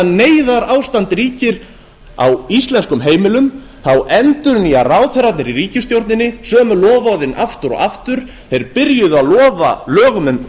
neyðarástand ríkir á íslensku heimilum endurnýja ráðherrarnir í ríkisstjórninni sömu loforðin aftur og aftur þeir byrjuðu að lofa lögum um